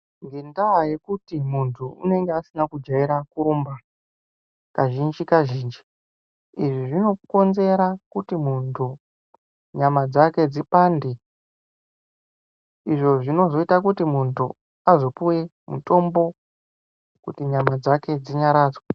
Ngendaa yekuti muntu unenge asina kujaira kurumba kazhinji zvinokonzera kuti muntu nyama dzake dzipande izvi zvinozoita kuti muntu azopuwa mutombo kuti nyama dzake dzinyaradzwe.